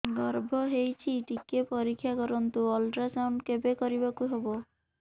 ଗର୍ଭ ହେଇଚି ଟିକେ ପରିକ୍ଷା କରନ୍ତୁ ଅଲଟ୍ରାସାଉଣ୍ଡ କେବେ କରିବାକୁ ହବ